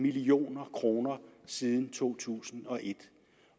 million kroner siden to tusind og et